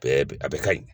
Bɛɛ bɛ a bɛɛ ka ɲi